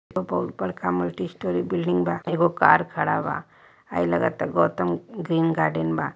बहुत बड़का multi storey building बाएगो कार खड़ा बा हई लागता गौतम ग्रीन गॉर्डन बा।